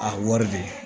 A wari de